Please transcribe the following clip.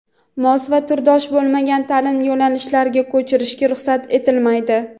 mos va turdosh bo‘lmagan ta’lim yo‘nalishlariga ko‘chirishga ruxsat etilmaydi.